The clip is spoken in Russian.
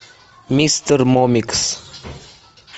мистер момикс